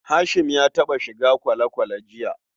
Hashim ya taɓa shiga kwale-kwale jiya.